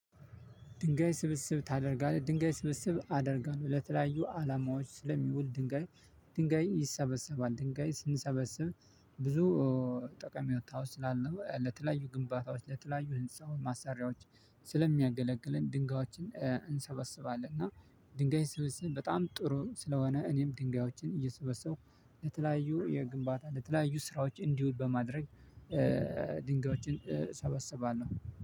ድንጋይ ስብስብ ታደርጋለህ ድንጋይ ስብስብ አደርጋለሁ ለተለያዩ አላማዎች ስለሚውል ድንጋይ። ድንጋይ ይሰበሰባል ድንጋይ ስንሰበሰብ። ብዙ ጠቀሜው ስላለ ለተለያዩ ግንባታዎች ለተለያዩ ህንፃውን ማሰሪያዎች ስለሚያገለግለን ድንጋዮችን እንሰበስባለን። እና ድንጋይ ስብስብ በጣም ጥሩም ስለሆነ እኔም ድንጋዮችን እየሰበሰብኩ ለተለያዩ የግንባታ ለተለያዩ ስራዎች እንዲውል በማድረግ። ድንጋዮችን እሰበሰባለሁ